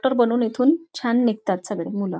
Doctor बनून इथून छान निघतात सगळी मुलं.